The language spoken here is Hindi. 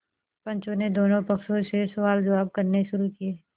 पंचों ने दोनों पक्षों से सवालजवाब करने शुरू किये